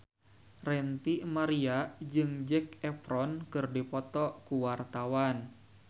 Ranty Maria jeung Zac Efron keur dipoto ku wartawan